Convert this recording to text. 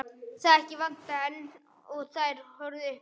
Þakið vantaði enn og þær horfðu upp í himininn.